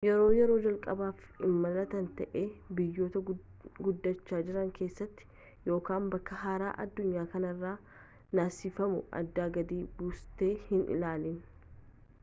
yoo yeroo jalqabaf imaalta ta'ee biyyota guddachaa jiraan keessatti yookan bakka haaraa addunyaa kanaraa naasifamuu aadaa gadii buuste hin ilaalin